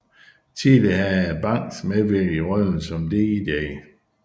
Tidligere havde Banks medvirket i rollen som Dr